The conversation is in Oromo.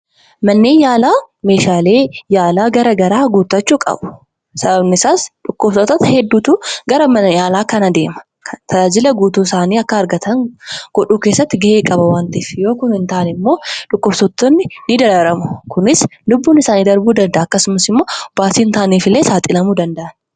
Manneen yaalaa meehaalee yaalaa garaa garaa guuttachuu qabu. Sababni isaas dhukkubsattoota hedduutu gara mana yaalaa kana deema. Tajaajila guutuu isaanii akka argatan godhuu keessatti gahee qaba waan ta'eef. Yoo kun hin taane immoo dhukkubsattoonni ni dararamu. Kuni lubbuun isaanii darbuu danda'a. Akkasumas immoo baasii hin taaneef illee saaxilamuuu danda'u.